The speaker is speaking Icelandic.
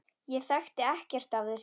Ég þekki ekkert af þessu.